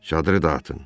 Çadırı da atın.